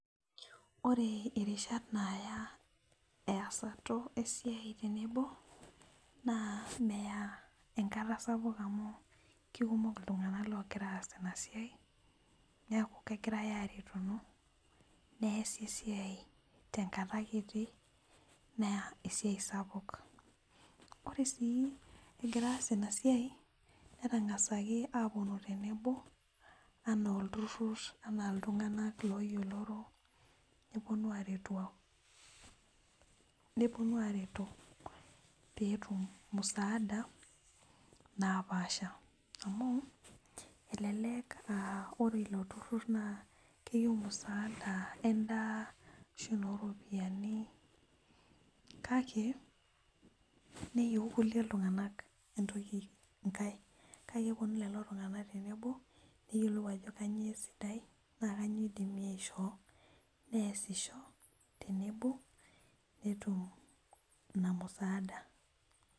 Ore erishat naaya easat o siai tenebo naa meya enkata sapuk amuu kekumok ltunganat loogira aas ena siai, naaku kegirai aareto neasi esiai te nkata kiti neya esiai sapuk. Kore sii kigira aas ina siai netangasaki aaponu tenebo anaa olturrur anaa ltunganak looyioloro, neponu aareto peetum musaada napaasha amu, elelek aa ore ilo turrur naa keyeu musaada endaa ashu noo iropiyiani, kakae neyeu ikule tunganak entoki inkae, kake keponu lelo tunganak tenebo, neyiolou ajo kainyio sidai naa kanyio eidimi aishoo, neasisho tenebo peetum ina musaada.